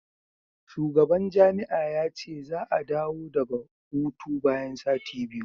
shugaban jami'a ya ce za a dawo daga hutu bayan sati biyu